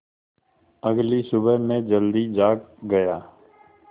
अगली सुबह मैं जल्दी जाग गया